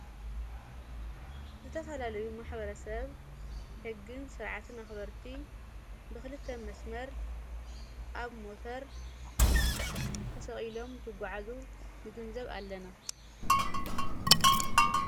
ዝተፋላለዩ ማኅበረ ሰብ ሕግን ሥርዓትን ኣኽበርቲ ብኽልተ መስመር ኣብ ሞተር ተሰቒሎም ትጕዓዙ ንግንዘብ ኣለና።